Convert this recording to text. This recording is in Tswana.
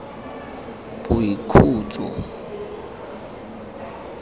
boikhutso